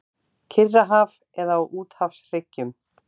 Kyrrahaf eða á úthafshryggjum.